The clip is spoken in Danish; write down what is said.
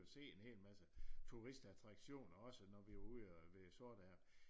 Og se en hel masse turistattraktioner også når vi er ude ved Sortehavet